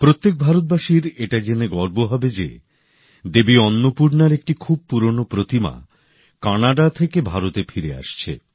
প্রত্যেক ভারতবাসীর এটা জেনে গর্ব হবে যে দেবী অন্নপূর্ণার একটি খুব পুরনো প্রতিমা কানাডা থেকে ভারতে ফিরে আসছে